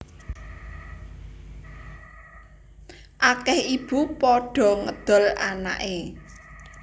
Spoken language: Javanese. Akeh ibu padha ngedol anake